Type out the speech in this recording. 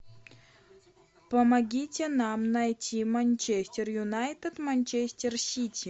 помогите нам найти манчестер юнайтед манчестер сити